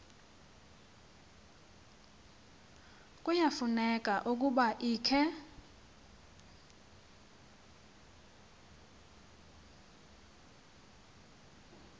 kuyafuneka ukuba ikhe